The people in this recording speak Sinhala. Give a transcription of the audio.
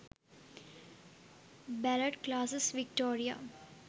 ballet classes victoria